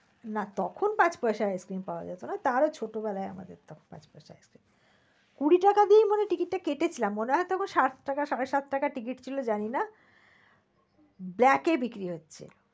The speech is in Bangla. না তখন পাঁচ পয়সায় ice-cream পাওয়া যেত না তারও ছোট বেলায় আমাদের তখন, কুড়ি টাকা দিয়ে মনে হয় ticket কেটে ছিলাম মনে হয় তো সাত টাকা সাড়ে সাত টাকা ticket ছিল জানি না black এ বিক্রি হচ্ছে।